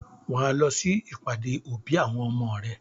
Wà á lọ sí ìbàdé-òbí àwọn ọmọ rẹ.